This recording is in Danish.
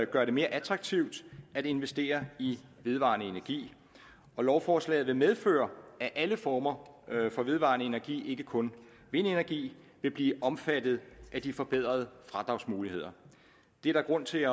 gøre det mere attraktivt at investere i vedvarende energi og lovforslaget vil medføre at alle former for vedvarende energi og ikke kun vindenergi vil blive omfattet af de forbedrede fradragsmuligheder der er grund til